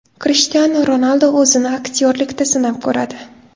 Krishtianu Ronaldu o‘zini aktyorlikda sinab ko‘radi.